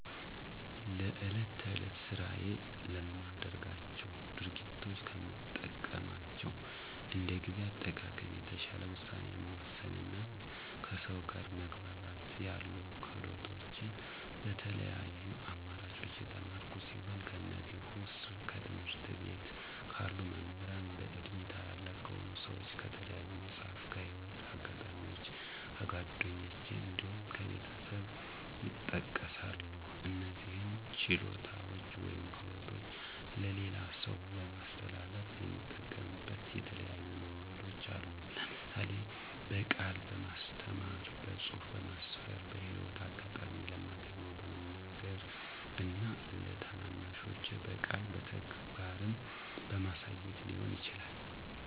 ለዕለት ተዕለት ስራዬ ለማደርጋቸው ድርጊቶች ከምጠቀማቸው እንደ ጊዜ አጠቃቀም፣ የተሻለ ውሳኔ መወሰን እና ከሰው ጋር መግባባት ያሉ ክህሎቶችን በተለያዩ አማራጮች የተማርኩ ሲሆን ከእነዚህም ዉስጥ፦ ከትምህርት ቤት ካሉ መምህራን፣ በእድሜ ታላላቅ ከሆኑ ሰዎች፣ ከተለያዩ መፅሀፍት፣ ከህይወት አጋጣሚዎች፣ ከጓደኞች እንዲሁም ከቤተሰብ ይጠቀሳሉ። እነዚህን ችሎታዎች ወይም ክህሎቶች ለሌላ ሰው ለማስተላለፍ የምጠቀምበት የተለያዩ መንገዶች አሉ። ለምሳሌ፦ በቃል በማስተማር፣ በፅሁፍ በማስፈር፣ በህይወት አጋጣሚ ለማገኘው በመንገር እና ለታናናሾቼ በቃልም በተግባርም በማሳየት ሊሆን ይችላል።